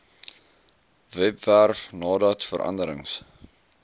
webwerf nadat veranderings